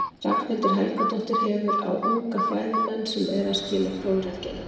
Ragnhildur Helgadóttir hefur, á unga fræðimenn sem eru að skila prófritgerðum.